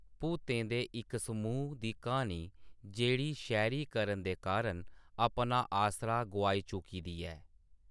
भूतें दे इक समूह् दी क्हानी जेह्‌ड़ी शैह्‌‌‌रीकरण दे कारण अपना आसरा गोआई चुकी दी ऐ।